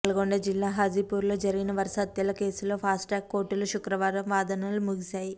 నల్గొండ జిల్లా హాజీపూర్ లో జరిగిన వరుస హత్యల కేసులో ఫాస్ట్ట్ ట్రాక్ కోర్టులో శుక్రవారం వాదనలు ముగిసాయి